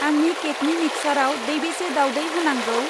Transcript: आंनि केकनि मिक्चाराव दैबेसे दावदै होनांगौ?